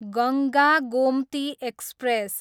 Ganga Gomti express